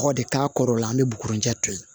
Kɔgɔ de k'a kɔrɔ la an bɛ bugurijɛ to yen